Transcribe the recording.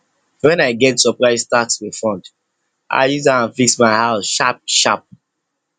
when i get surprise tax refund i use am fix my house sharpsharp